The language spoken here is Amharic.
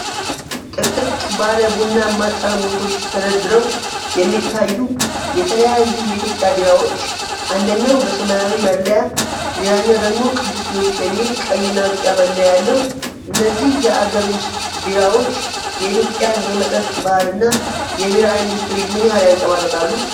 ጥቅጥቅ ባለ ቡናማ ጠርሙሶች ተደርድረው የሚታዩ የተለያዩ የኢትዮጵያ ቢራዎች፣ አንደኛው በሰማያዊ መለያ፣ ሌላኛው ደግሞ "ቅዱስ ጊዮርጊስ" የሚል ቀይና ቢጫ መለያ ያለው፣ እነዚህ የአገር ውስጥ ቢራዎች የኢትዮጵያን የመጠጥ ባህልና የቢራ ኢንዱስትሪ ምን ያህል ያንፀባርቃሉ?